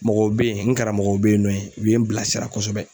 Mɔgɔw bɛ yen, n karamɔgɔw bɛ yen nɔ u bɛ ye n bilasira kosɛbɛ